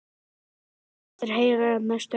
Vonast eftir Heiðari um næstu helgi